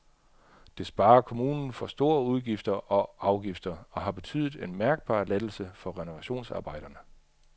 Det sparer kommunen for store udgifter og afgifter og har betydet en mærkbar lettelse for renovationsarbejderne.